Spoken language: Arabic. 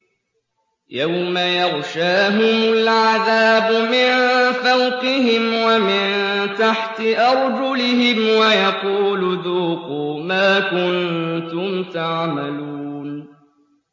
يَوْمَ يَغْشَاهُمُ الْعَذَابُ مِن فَوْقِهِمْ وَمِن تَحْتِ أَرْجُلِهِمْ وَيَقُولُ ذُوقُوا مَا كُنتُمْ تَعْمَلُونَ